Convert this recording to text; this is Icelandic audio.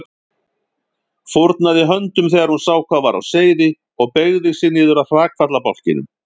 Fórnaði höndum þegar hún sá hvað var á seyði og beygði sig niður að hrakfallabálknum.